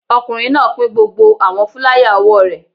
Ọkùnrin náà pín gbogbo àwọn fúláyà òwò rẹ̀